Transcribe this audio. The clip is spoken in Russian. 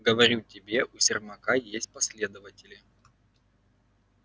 говорю тебе у сермака есть последователи